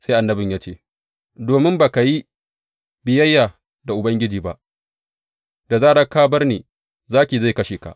Sai annabin ya ce, Domin ba ka yi biyayya da Ubangiji ba, da zarar ka bar ni zaki zai kashe ka.